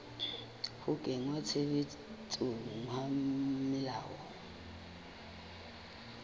ho kenngwa tshebetsong ha melao